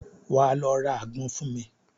Wà á lọ ra àgbọn fún mi.